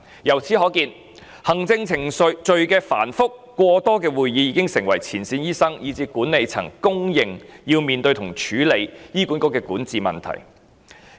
由此可見，行政程序繁複，加上會議過多，已成為前線醫生以至管理層皆認為要面對及處理的醫管局管治問題。